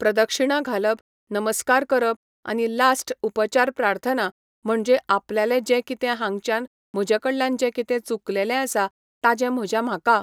प्रदक्षिणां घालप, नमस्कार करप आनी लास्ट उपचार प्रार्थना म्हणजें आपल्यालें जें कितें हांगच्यान म्हजें कडल्यान जें कितें चुकलेंलें आसा ताजें म्हज्या म्हाका